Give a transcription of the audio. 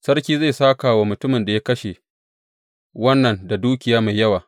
Sarki zai sāka wa mutumin da ya kashe wannan da dukiya mai yawa.